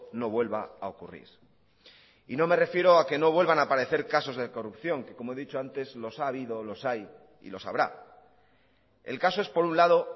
no vuelva a ocurrir y no me refiero a que no vuelvan a aparecer casos de corrupción que como he dicho antes los ha habido los hay y los habrá el caso es por un lado